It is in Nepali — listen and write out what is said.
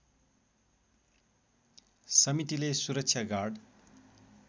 समितिले सुरक्षा गार्ड